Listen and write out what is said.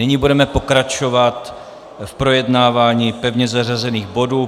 Nyní budeme pokračovat v projednávání pevně zařazených bodů.